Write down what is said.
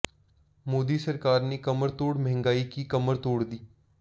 मोदी सरकार ने कमरतोड़ महंगाई की कमर तोड़ दी